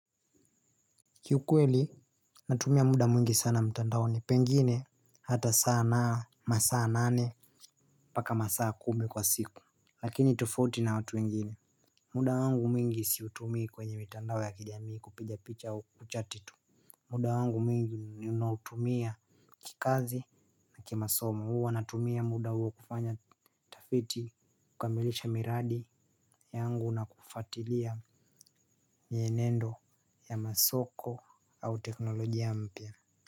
Kiukweli natumia muda mwingi sana mtandaoni pengine hata saa na masaa nane mpaka masaa kumi kwa siku. Lakini tofauti na watu wengine muda wangu mwingi siutumii kwenye mitandao ya kijamii kupiga picha kuchati tu. Muda wangu mwingi ninautumia kikazi na kimasomo huwa natumia muda huu kufanya tafiti kukamilisha miradi yangu na kufuatilia mienendo ya masoko au teknolojia mpya.